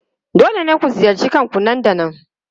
Dole ne ku ziyarci kakanku nan da nan!